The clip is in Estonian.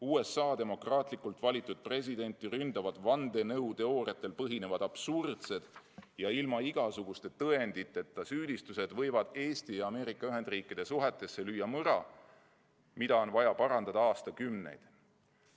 USA demokraatlikult valitud presidenti ründavad vandenõuteooriatel põhinevad absurdsed ja ilma igasuguste tõenditeta süüdistused võivad Eesti ja Ameerika Ühendriikide suhetesse lüüa mõra, mida on vaja parandada aastakümneid.